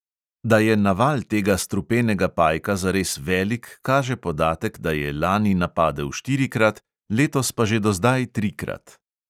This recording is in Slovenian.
Da je naval tega strupenega pajka zares velik, kaže podatek, da je lani napadel štirikrat, letos pa že do zdaj trikrat.